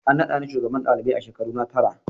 An nada ni shugabar ɗalibai a shekaruna tara.